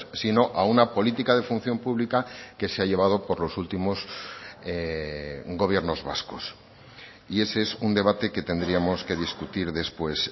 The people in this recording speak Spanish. sino a una política de función pública que se ha llevado por los últimos gobiernos vascos y ese es un debate que tendríamos que discutir después